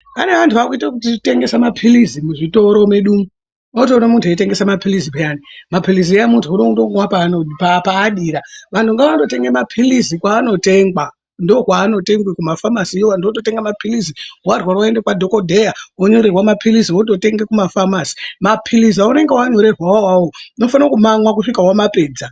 Pane antu akuita zvekutengesa mapilizi muzvitoro medu umu unotoona muntu eitengesa mapilizi peyani, mapilizi aya muntu unotomamwira paadira. Vuntu ngondotenga mapilizi kwaanotengwa, ndokwaanotengwa kumafamasiyo vantu vototenga mapilizi, warwara woenda kwadhokodheya wondonyorerwa mapilizi wototenga kumafamasi. Mapilizi aunenge wanyorerwa awawo unofanirwa kumamwa kusvika wamapedza.